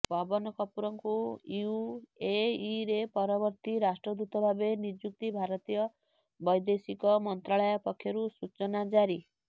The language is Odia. ପବନ କପୂରଙ୍କୁ ୟୁଏଇରେ ପରବର୍ତ୍ତୀ ରାଷ୍ଟ୍ରଦୂତ ଭାବେ ନିଯୁକ୍ତି ଭାରତୀୟ ବୈଦେଶିକ ମନ୍ତ୍ରାଳୟ ପକ୍ଷରୁ ସୂଚନା ଜାରି